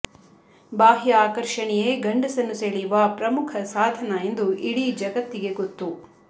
ಬಾಹ್ಯ ಆಕರ್ಷಣೆಯೆ ಗಂಡಸನ್ನು ಸೆಳೆಯುವ ಪ್ರಮುಖ ಸಾಧನ ಎಂದು ಇಡೀ ಜಗತ್ತಿಗೆ ಗೊತ್ತು